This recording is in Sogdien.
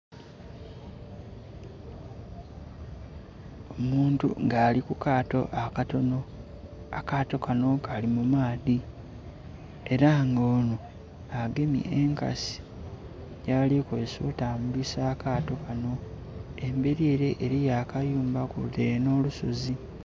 Omuntu nga ari kukaato akatono, akaato kano kali mu maadhi era nga ono agemye enkasi yaali kukozesa okutambulisa akaato kano, emberi ere eliyo akayumba kwotaire n'olusozi.